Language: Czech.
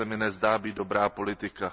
To se mi nezdá být dobrá politika.